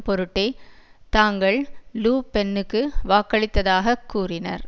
பொருட்டே தாங்கள் லு பென்னுக்கு வாக்களித்ததாகக் கூறினர்